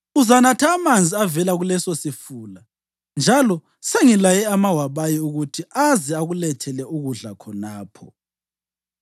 Uzanatha amanzi avela kulesosifula, njalo sengilayile amawabayi ukuthi azabe ekulethela ukudla khonapho.”